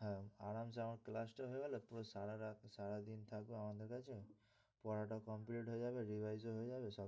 হ্যাঁ আরামসে আমার class টা হয়ে গেল পুরো সারারাত সারাদিন থাকো আমাদের কাছে পড়াটাও complete হয়ে যাবে revise ও হয়ে যাবে।